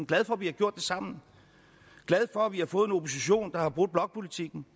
glad for at vi har gjort det sammen og glad for at vi har fået en opposition der har brudt blokpolitikken